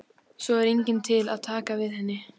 Svo er enginn til að taka við henni.